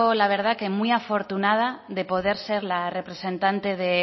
la verdad que muy afortunada de poder ser la representante de